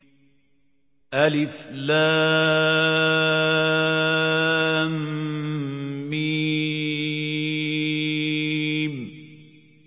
الم